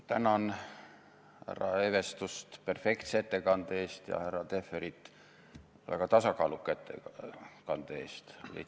Tänan härra Evestust perfektse ettekande eest ja härra Tehverit väga tasakaaluka ettekande eest!